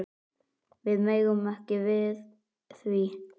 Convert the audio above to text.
Við megum ekki við því.